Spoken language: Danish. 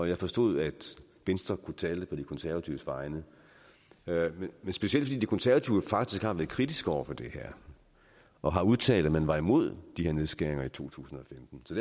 jeg forstod at venstre kunne tale på de konservatives vegne specielt fordi de konservative faktisk har været kritiske over for det her og har udtalt at man var imod de her nedskæringer i to tusind og femten så